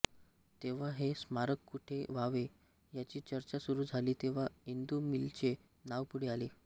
तेव्हा हे स्मारक कुठे व्हावे याची चर्चा सुरू झाली तेव्हा इंदू मिलचे नाव पुढे आले